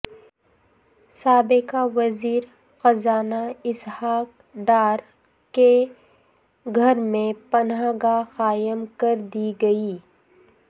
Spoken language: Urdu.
سابق وزیر خزانہ اسحاق ڈار کے گھر میں پناہ گاہ قائم کردی گئی